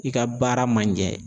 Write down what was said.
I ka baara ma ɲɛ